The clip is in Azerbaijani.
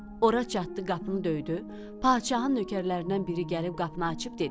Ora çatdı, qapını döydü, padşahın nökərlərindən biri gəlib qapını açdı.